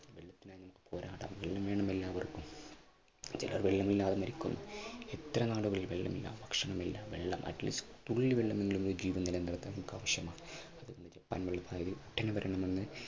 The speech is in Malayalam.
വെള്ളത്തിനായി നമുക്ക് പോരാടാം. വെള്ളം വേണം എല്ലാവർക്കും വെള്ളമില്ലാതെ മരിക്കുന്നു. ഇത്ര നാൾ വെള്ളമില്ല, ഭക്ഷണമില്ല വെള്ളം at least തുള്ളി വെള്ളമെങ്കിലും വീട്ടിൽ നമുക്ക് ആവശ്യമാണ് അതുകൊണ്ട് ജപ്പാൻ കുടിവെള്ള പദ്ധതി ഉടനെ വരണമെന്ന്